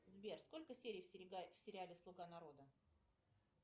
сбер сколько серий в сериале слуга народа